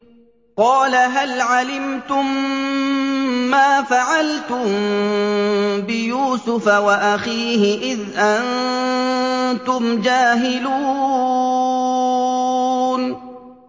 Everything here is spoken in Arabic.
قَالَ هَلْ عَلِمْتُم مَّا فَعَلْتُم بِيُوسُفَ وَأَخِيهِ إِذْ أَنتُمْ جَاهِلُونَ